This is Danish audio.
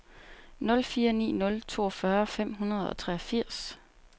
nul fire ni nul toogfyrre fem hundrede og treogfirs